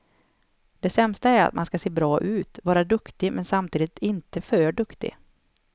Det sämsta är att man ska se bra ut, vara duktig men samtidigt inte för duktig.